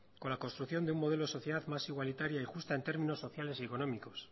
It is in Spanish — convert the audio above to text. con la construcción de un modelo social más igualitaria y justa en términos sociales y económicos